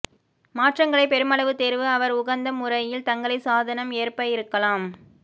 மாற்றங்களை பெருமளவு தேர்வு அவர் உகந்த முறையில் தங்களை சாதனம் ஏற்ப இருக்கலாம்